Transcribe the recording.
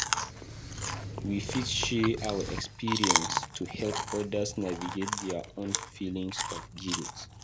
We fit share our experiences to help others navigate their own feelings of guilt.